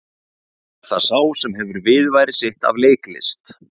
Er það sá sem hefur viðurværi sitt af leiklist?